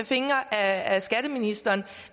fingre ad skatteministeren